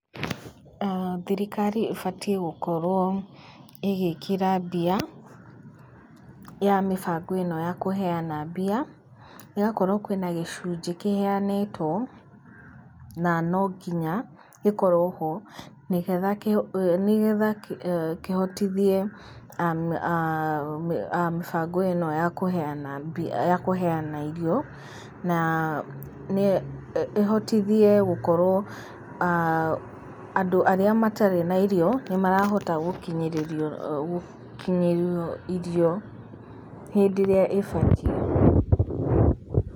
Thirikari ĩbatiĩ gũkorwo ĩgĩkĩra mbia ya mĩbango ĩno ya kũheyana mbia, ĩgakorwo kwĩ na gĩcunjĩ kĩheyanĩtwo, na no nginya gĩkorwo ho, nĩgetha kĩhotithie mĩbango ĩno ya kũheyana, kũheyana irio, na ĩhotithie gũkorwo andũ arĩa matarĩ na irio nĩmarahota gũkinyĩrĩrio irio hĩndĩ ĩrĩa ĩbatiĩ.